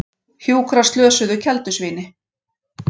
Hjúkrar slösuðu keldusvíni